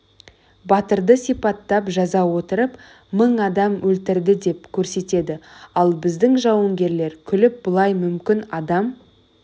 батырды сипаттап жаза отырып мың адам өлтірді деп көрсетеді ал біздің жауынгерлер күліп былай мүмкін адам